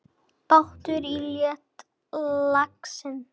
Bátur hans hét Laxinn.